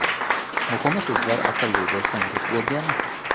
Muhimi sizlar aqlli bo‘lsangiz bo‘lgani”.